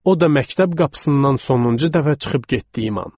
O da məktəb qapısından sonuncu dəfə çıxıb getdiyim an.